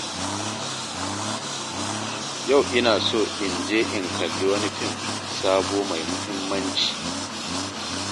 Yau ina so in je in kalli wani fim sabo mai muhimmanci.